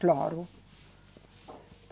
Claro.